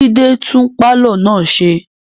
Jide tún pàlọ́ náà ṣe